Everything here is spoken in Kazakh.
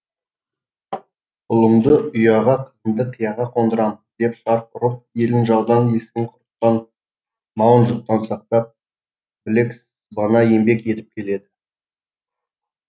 ұлымды ұяға қызымды қияға қондырам деп шарқ ұрып елін жаудан есігін құрттан малын жұттан сақтап білек сыбана еңбек етіп келеді